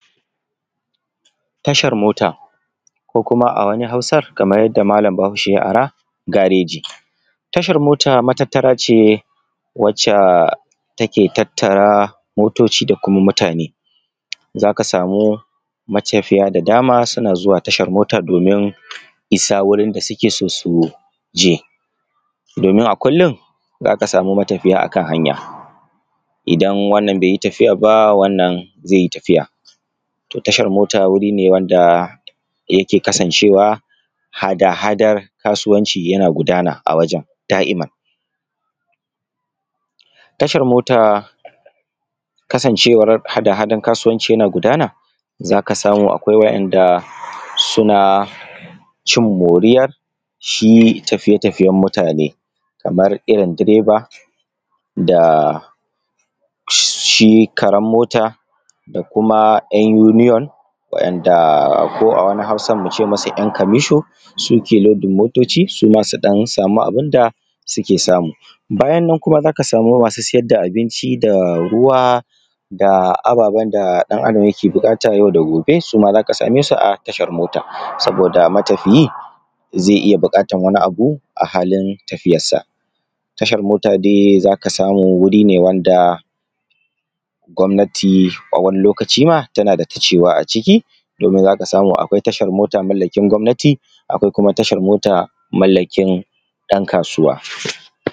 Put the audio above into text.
Tashar mota, ko kuma a wani Hausar kamar yadda malam Bahaushe ya ara gareji. Tashar mota matattara ce wacce take tattara motoci da kuma mutane, za ka samu matafiya da dama suna zuwa tashar mota domin isa wurin da suke son su je. Domin a kullum za ka sama matafiya a kan hanya idan wannan bai yi tafiya. To tashar mota wuri ne wanda yake kasancewa hada-hadan kasuwanci yana gudana a wajen da'iman. Tashar mota kasancewar hada-hadan kasuwanci yana gudana a wurin za ka samu akwai waɗanda suna cin moriyar tafiye-tafiyen mutane kamar irin direba da shi karen mota da kuma 'yan union da ko a wani Hausar mu ce musu 'yan kamisho, suke lodin motoci suma su sama ɗan abun da suke samu. Bayan nan za ka samu masu sayar da abinci da ruwa da ababen da ɗan Adam yake buƙata yau da gobe, za ka same su a tashar mota saboda matafiyi zai iya bukatar wani abu a halin tafiyar sa. Tashar mota za dai ka samu wuri ne wanda gwamnati tana da ta cewa a ciki, za ka samu akwai tashar mota mallakin gwamnati akwai tashar mato mallakin ɗan kasuwanci.